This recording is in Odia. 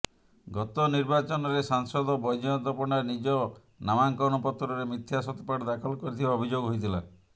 ଗତ ନିର୍ବାଚନରେ ସାଂସଦ ବୈଜୟନ୍ତ ପଣ୍ଡା ନିଜ ନାମାଙ୍କନପତ୍ରରେ ମିଥ୍ୟା ସତ୍ୟପାଠ ଦାଖଲ କରିଥିବା ଅଭିଯୋଗ ହୋଇଥିଲା